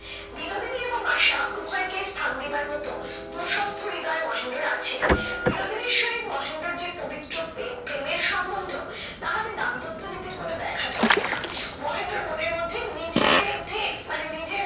বিনোদিনী এবং আশা উভয়কে স্থান দিবার মতো প্রশস্থ হৃদয় মহেন্দ্রের আছে। বিনোদিনীর সহিত মহেন্দ্রর যে পবিত্র প্রেম প্রেমের সম্বন্ধ তাহাতে দাম্পত্যনীতির কোনো ব্যাঘাত হইবে না। মহেন্দ্রর মনের মধ্যে নিজের বিরুদ্ধে মানে নিজের